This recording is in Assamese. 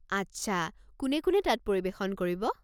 আচ্ছা, কোনে কোনে তাত পৰিৱেশন কৰিব?